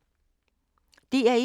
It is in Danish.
DR1